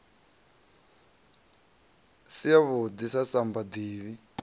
si yavhuḓi na samba ḓivhi